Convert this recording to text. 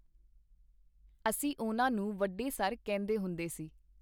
ਅਸੀਂ ਉਹਨਾਂ ਨੂੰ ਵੱਡੇ ਸਰ ਕਹਿੰਦੇ ਹੁੰਦੇ ਸੀ.